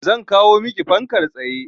Zan kawo maki fankar tsaye.